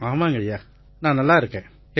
ஆமாம் ஐயா நான் நல்லா இருக்கேன்